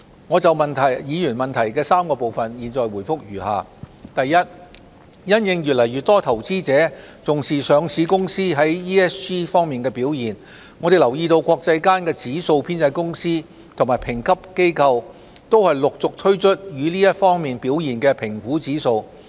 我們就議員質詢的3個部分答覆如下：一因應越來越多投資者重視上市公司在 ESG 方面的表現，我們留意到國際間的指數編製公司及評級機構都陸續推出這些方面表現的評估指數。